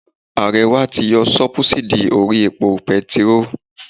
Ààrẹ wa ti yọ sóbúsídì orí epo petiró